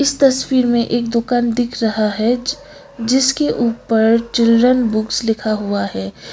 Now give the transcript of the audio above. इस तस्वीर में एक दुकान दिख रहा है जिसके ऊपर चिल्ड्रन बुक्स लिखा हुआ है।